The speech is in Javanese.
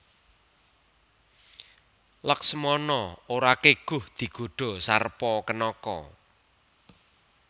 Laksmana ora keguh digodha Sarpakenaka